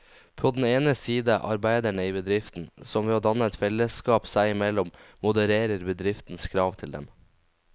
På den ene side arbeiderne i bedriften, som ved å danne et fellesskap seg imellom modererer bedriftens krav til dem.